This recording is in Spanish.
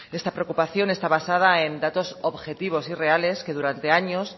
esta preocupación está basada en datos objetivos y reales que durante años